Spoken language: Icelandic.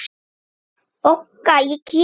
BOGGA: Ég kem!